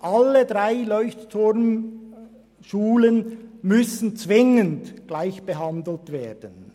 Alle drei Leuchtturm-Schulen müssen zwingend gleich behandelt werden.